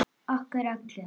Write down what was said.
Okkur öll.